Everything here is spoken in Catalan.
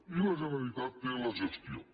i la generalitat té la gestió